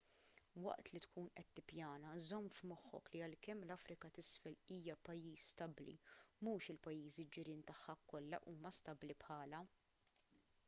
waqt li tkun qed tippjana żomm f'moħħok li għalkemm l-afrika t'isfel hija pajjiż stabbli mhux il-pajjiżi ġirien tagħha kollha huma stabbli bħalha